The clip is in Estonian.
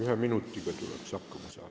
Ühe minutiga tuleks hakkama saada.